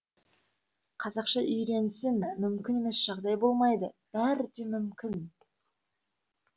қазақша үйренсін мүмкін емес жағдай болмайды бәрі де мүмкін